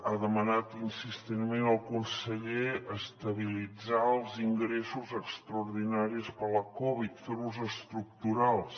ha demanat insistentment el conseller estabilitzar els ingressos extraordinaris per la covid fer los estructurals